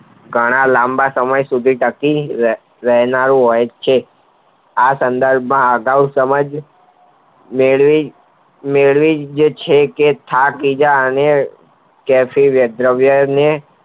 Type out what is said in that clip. ઘણા લાંબા સમય સુધી ટકી રહેનારુ હોય છે આ સંધાનમાં આગવું સમાજ મેળવી છે કે થાક અને જટિલ દ્રવ્યોને